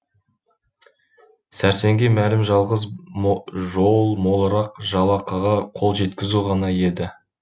сәрсенге мәлім жалғыз жол молырақ жалақыға қол жеткізу ғана еді